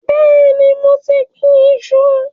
Bẹẹni, mo ti gbìn-ín iṣu